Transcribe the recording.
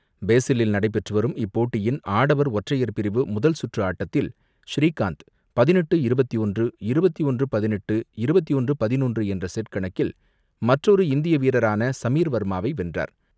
பாஸலில் நடைபெற்றுவரும் இப்போட்டியின் ஆடவர் ஒற்றையர் பிரிவு முதல் சுற்று ஆட்டத்தில் ஸ்ரீகாந்த் பதினெட்டுக்கு இருபத்து ஒன்று, இருபத்து ஒன்று பதினெட்டு, இருபத்து ஒன்று பதினொன்று என்ற செட் கணக்கில் மற்றொரு இந்திய வீரரான சமீர் வர்மாவை வென்றார்.